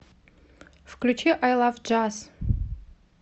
включи ай лав джаз